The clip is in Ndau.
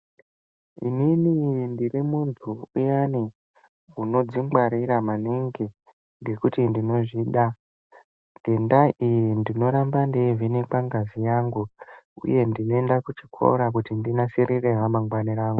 Inini ndiri muntu uyani, unodzingwarira maningi ngekuti ndinozvida. Ngendaa iyi ndinoramba ndeivhenekwa ngazi yangu, uye ndinoenda kuchikora kuti ndinasirire ramangwani rangu.